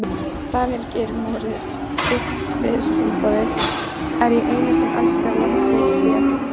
Daníel Geir Moritz uppistandari: Er ég eini sem elska landsleikjahlé?